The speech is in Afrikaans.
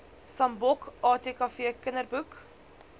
sambok atkv kinderboek